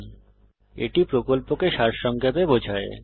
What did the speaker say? এটি কথ্য টিউটোরিয়াল প্রকল্পকে সারসংক্ষেপে বোঝায়